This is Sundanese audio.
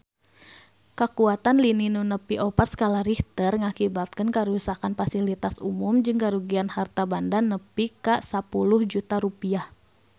Kakuatan lini nu nepi opat skala Richter ngakibatkeun karuksakan pasilitas umum jeung karugian harta banda nepi ka 10 juta rupiah